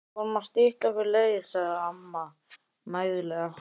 Við vorum bara að stytta okkur leið sagði amma mæðulega.